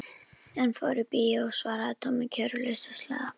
Hann fór í bíó svaraði Tommi kæruleysislega.